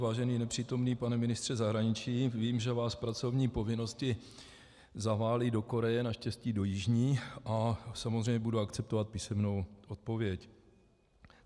Vážený nepřítomný pane ministře zahraničí, vím, že vás pracovní povinnosti zavály do Koreje, naštěstí do Jižní, a samozřejmě budu akceptovat písemnou odpověď.